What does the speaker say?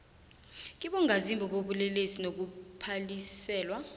kibongazimbi bobulelesi nokuphaliselwa